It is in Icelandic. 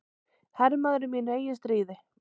Hermaður í mínu eigin stríði.